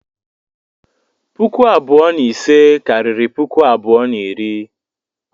Puku abụọ na ise karịrị puku abụọ na iri.